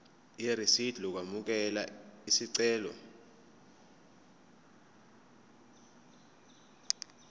irisidi lokwamukela isicelo